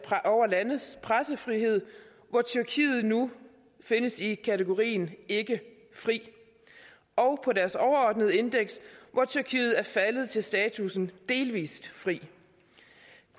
pressefrihed hvor tyrkiet nu findes i kategorien ikke fri og på deres overordnede indeks hvor tyrkiet er faldet til statussen delvist fri